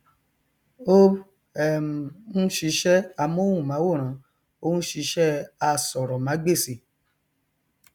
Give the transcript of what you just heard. ó um n ṣiṣẹ amóhùmáwòrán ó n ṣiṣẹ asọrọmágbèsì